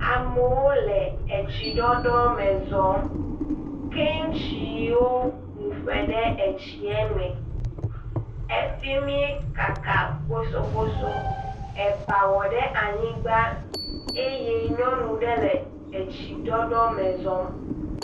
Amewo le tsiɖɔɖɔ me zɔm, ke tsiwo mu ƒo ɖe etsie me efi mi kaka bosoboso eye nyɔnu ɖe le etsiɖɔɖɔ me zɔm.